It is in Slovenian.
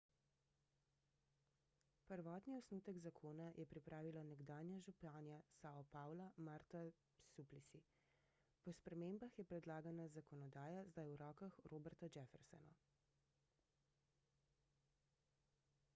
prvotni osnutek zakona je pripravila nekdanja županja sao paula marta suplicy po spremembah je predlagana zakonodaja zdaj v rokah roberta jeffersona